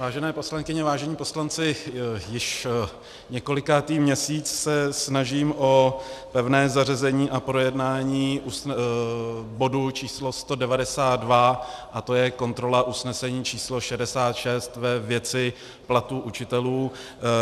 Vážené poslankyně, vážení poslanci, již několikátý měsíc se snažím o pevné zařazení a projednání bodu číslo 192 a to je kontrola usnesení číslo 66 ve věci platu učitelů.